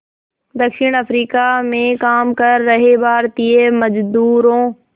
दक्षिण अफ्रीका में काम कर रहे भारतीय मज़दूरों